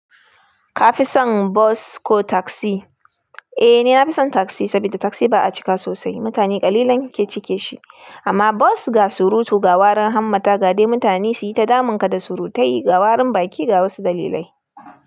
Ka fi son bus ko taksi? Eh, ni na fi son taksi saboda taksi ba a cika sosai, mutane ƙalilan ke cike shi. Amma bas ga surutu, ga warin hammata, ga dai mutane su yi ta damun ka da surutai, ga warin baki ga wasu dalilai.